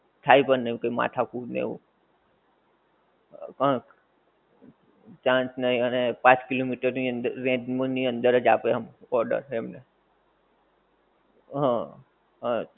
થાઈ પણ નહિ એવું કઈ માથાકૂટ ને એવું. હં chance નહિ અને પાંચ કિલોમિટર ની અંદર radius ની અંદર જ આપે આમ order એમ.